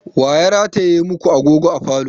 Wa ya rataye ma ku agogo a falo?